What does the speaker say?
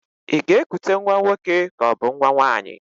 Ị ga-ekute nwa nwoke kaọbụ nwa nwaanyị?